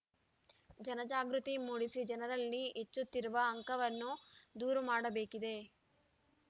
ಜನಜಾಗೃತಿ ಮೂಡಿಸಿ ಜನರಲ್ಲಿ ಹೆಚ್ಚುತ್ತಿರುವ ಆಂಕವನ್ನು ದೂರು ಮಾಡಬೇಕಿದೆ